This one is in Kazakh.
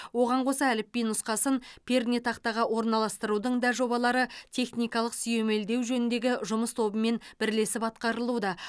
оған қоса әліпби нұсқасын пернетақтаға орналастырудың да жобалары техникалық сүйемелдеу жөніндегі жұмыс тобымен бірлесіп атқарылуда